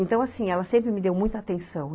Então, assim, ela sempre me deu muita atenção.